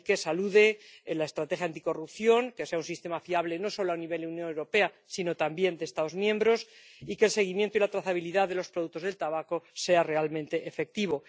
De ahí que salude, en la estrategia anticorrupción, que sea un sistema fiable no solo a nivel de la Unión Europea sino también de los Estados miembros, y que el seguimiento y la trazabilidad de los productos del tabaco sean realmente efectivos.